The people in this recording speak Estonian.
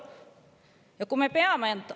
Praegu seda võimalust ei ole.